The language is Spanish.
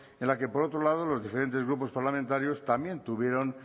en la que por otro lado los diferentes grupos parlamentarios también tuvieron